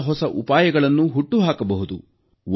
ಹೊಸಹೊಸ ಉಪಾಯಗಳನ್ನು ಹುಟ್ಟುಹಾಕಬಹುದು